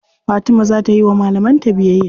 Fatima za ta yiwa malaman ta biyayya.